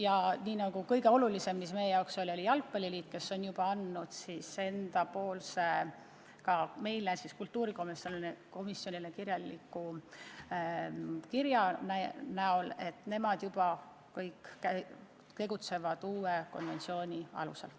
Ja mis kõige olulisem: ka meie jalgpalliliit on kultuurikomisjonile saatnud kirja, et nad juba tegutsevad uue konventsiooni alusel.